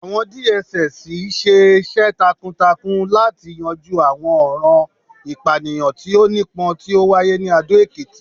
àwọn DSS ṣiṣẹ takuntakun lati yanju awọn ọran ipaniyan ti o nipọn ti o waye ni Ado Ekiti